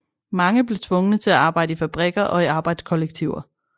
Mange blev tvungne til at arbejde i fabrikker og i arbejdskollektiver